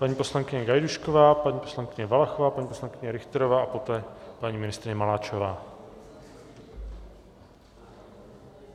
Paní poslankyně Gajdůšková, paní poslankyně Valachová, paní poslankyně Richterová a poté paní ministryně Maláčová.